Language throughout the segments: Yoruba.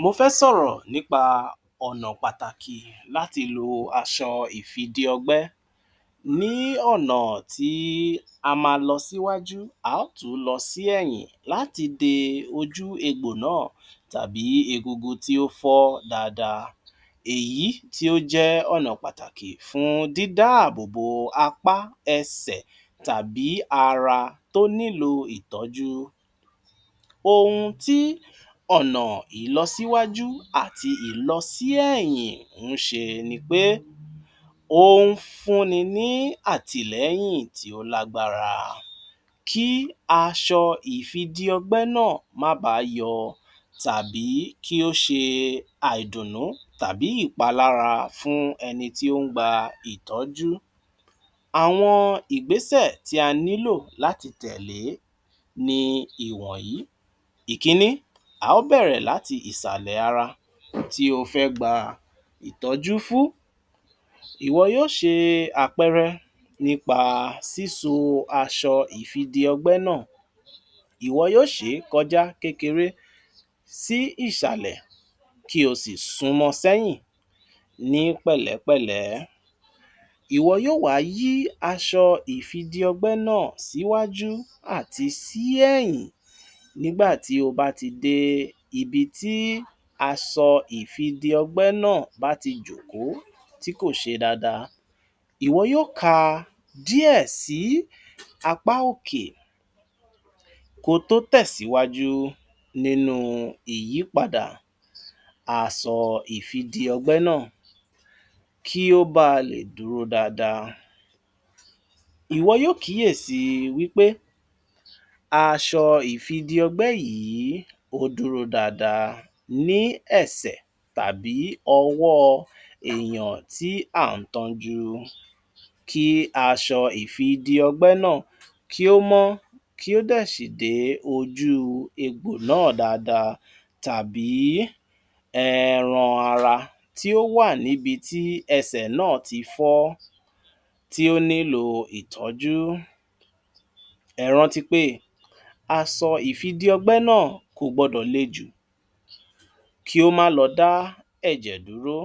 Mo fẹ́ sọ̀rọ̀ nípa ọ̀nà pàtàkì láti lo aṣọ ìfi-dí-ọgbẹ́ ní ọ̀nà tí a máa lọ síwájú, a ó tún lọ sí ẹ̀yìn láti de ojú egbò náà tàbí egungun tí ó fọ́ dáadáa, èyí tí ó jẹ́ ọ̀nà pàtàkì fún dídá ààbò bo apá, ẹsẹ̀ tàbí ara tó nílò ìtójú. Ohun tí ọ̀nà ìlọsíwájú àti ìlọsíẹ̀yìn ń ṣe ni pé ó ń fún ni ní àtìlẹ́yìn tí ó lágbára kí aṣọ ìfi-dí-ọgbẹ́ náà má báá yọ tàbí kí ó ṣe àìdùnnú àbí ìpalára fún ẹni tí ó ń gba ìtọ́jú. Àwọn ìgbésẹ̀ tí a ní láti tẹ̀lé ni àwọn ìwọ̀nyí: Ìkínní, a ó bẹ̀rẹ̀ láti ìsàlẹ̀ ara tí o fẹ́ gba ìtọ́jú fún. Ìwọ yóó ṣe àpẹẹrẹ nípa síso aṣọ ìfi-dí-ọgbẹ́ náà, ìwọ yóó ṣè é kọjá kékeré sí ìsàlẹ̀ kí o sì sunmọ sẹ́yìn ní pẹ̀lẹ́-pẹ̀lẹ́. Ìwọ yóó wá yí aṣọ ìfi-dí-ọgbẹ́ náà síwájú àti sí ẹ̀yìn nígbà tí o bá ti dé ibi tí asọ ìfi-dí-ọgbẹ́ náà bá ti jòkó tí kò ṣe dáadáa. Ìwọ yóó ká a díẹ̀ sí apá òkè kọ tó tẹ̀síwájú nínú ìyípadà asọ ìfi-dí-ọgbẹ́ náà kí ó bá a lè dúró dáadáa. Ìwọ yóó kíyèsíi wí pé aṣọ ìfi-dí-ọgbẹ́ yìí ó dúró dáadáa ní ẹsẹ̀ tàbí ọwọ́ èèyàn tí à ń tọ́jú kí aṣọ ìfi-dí-ọgbẹ́ náà kí ó mọ́ kí ó dẹ̀ sì dé ojú egbò náà dáadáa tàbí ẹẹran ara tí ó wà níbi tí ẹsẹ̀ náà ti fọ́ tí ó nílòo ìtọ́jú. Ẹ rántí pé asọ ìfi-dí-ọgbẹ́ náà kò gbọdọ̀ le jù kí ó má lọ dá ẹ̀jẹ̀ dúró.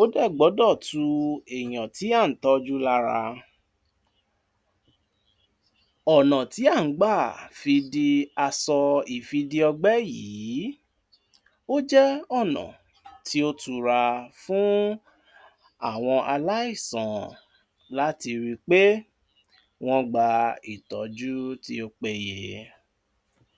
Ó dè gbọ́dọ̀ tu èèyàn tí à ń tọ́jú lára. Ọ̀nà tí à ń gbà fi di asọ ìfi-dí-ọgbẹ́ yìí ó jẹ́ ọ̀nà tí ó tura fún àwọn aláìsàn láti ri pé wọ́n gba ìtọ́jú tí ó péye.